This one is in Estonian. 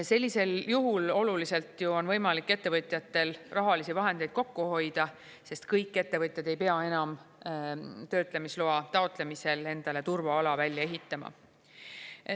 Sellisel juhul oluliselt on võimalik ettevõtjatel rahalisi vahendeid kokku hoida, sest kõik ettevõtjad ei pea enam töötlemisloa taotlemisel endale turvaala välja ehitama.